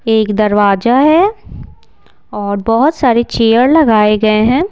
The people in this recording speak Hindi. एक दरवाजा है और बहुत सारे चेयर लगाए गए हैं।